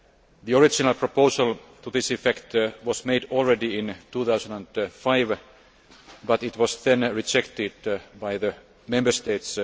The original proposal to this effect was made in 2005, but it was then rejected by the Member States.